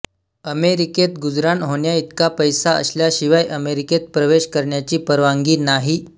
अमेरिकेत गुजराण होण्याइतका पैसा असल्याशिवाय अमेरिकेत प्रवेश करण्याची परवानगी नाही